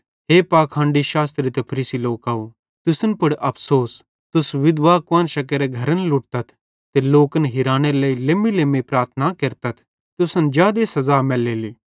हे पाखंडी शास्त्री ते फरीसी लोकव तुसन पुड़ अफ़सोस तुस विधवा कुआन्शां केरे घरन लुटतथ ते लोकन हिरानेरे लेइ लेम्मीलेम्मी प्रार्थना केरतथ तुसन जादे सज़ा मैलेली